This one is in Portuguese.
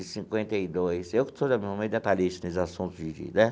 De cinquenta e dois eu que sou meio detalhista nesses assuntos de de né.